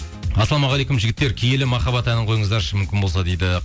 ассалаумағалейкум жігіттер киелі маххаббат әнін қойыңыздаршы мүмкін болса дейді